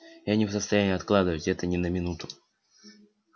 я не в состоянии откладывать это ни на минуту